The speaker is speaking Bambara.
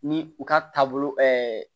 Ni u ka taabolo